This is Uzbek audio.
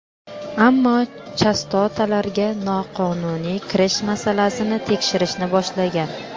ammo chastotalarga noqonuniy kirish masalasini tekshirishni boshlagan.